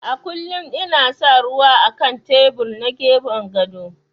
A kullum ina sa ruwa á kan tebur na gefen gado.